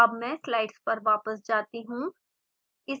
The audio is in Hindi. अब मैं स्लाइड्स पर वापस जाती हूँ